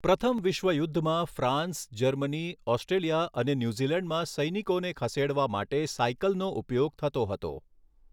પ્રથમ વિશ્વયુદ્ધમાં France, Germany, Australia અને ન્યૂઝીલેન્ડમાં સૈનિકોને ખસેડવા માટે સાયકલનો ઉપયોગ થતો હતો.